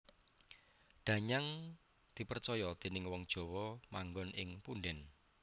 Danyang dipracaya déning wong Jawa manggon ing punden